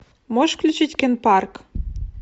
можешь включить кен парк